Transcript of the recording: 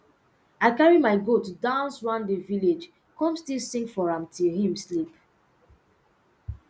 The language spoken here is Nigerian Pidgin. i carry my goat dance round the village come still sing for am till him sleep